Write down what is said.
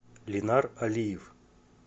ленар алиев